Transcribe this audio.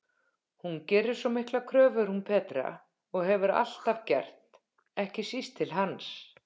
Hún gerir svo miklar kröfur hún Petra, og hefur alltaf gert, ekki síst til hans.